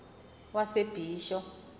yasebisho